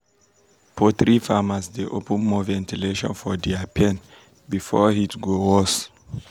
poultry farmers dey open more ventilation for dia pen before heat go worse.